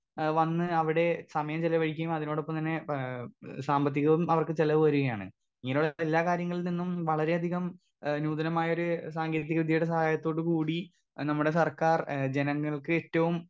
Speaker 2 ഏ വന്ന് അവിടെ സമയം ചെലവഴിക്കേം അതിനോടൊപ്പം തന്നെ ഏ സാമ്പത്തികവും അവർക്ക് ചെലവ് വരികയാണ് ഇങ്ങനെയുള്ള എല്ലാ കാര്യങ്ങളിൽ നിന്നും വളരെയധികം ഏ നൂതനമായൊരു സാങ്കേതിക വിദ്യയുടെ സഹായത്തോട് കൂടി ഏ നമ്മുടെ സർക്കാർ ഏ ജനങ്ങൾക്കേറ്റവും.